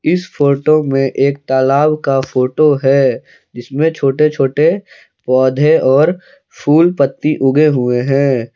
इस फोटो में एक तालाब का फोटो है जिसमें छोटे छोटे पौधे और फूल पत्ती उगे हुए हैं।